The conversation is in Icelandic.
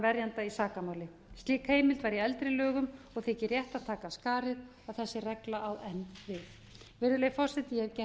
verjanda í sakamáli slík heimild var í eldri lögum og þykir rétt að taka af skarið að þessi regla á enn við virðulegi forseti ég hef gert